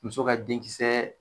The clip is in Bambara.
Muso ka denkisɛɛ